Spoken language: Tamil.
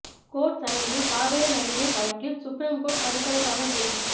கோர்ட் சரவெடி காவிரி நதிநீர் வழக்கில் சுப்ரீம் கோர்ட் அடுக்கடுக்காக கேள்வி